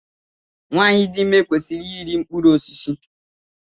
Nwaanyị dị ime kwesịrị iri mkpụrụ osisi.